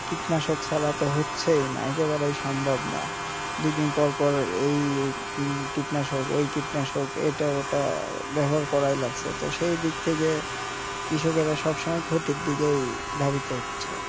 কীটনাশক ছাড়া তো হচ্ছেই নাই একেবারেই সম্ভব না দুইদিন পরপর এই কীটনাশক ওই কীটনাশক এটা ওটা ব্যবহার করা লাগছে তো সেই দিক থেকে কৃষকেরা সবসময় ক্ষতির দিকে ধাবিত হচ্ছে